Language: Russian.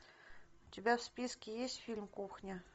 у тебя в списке есть фильм кухня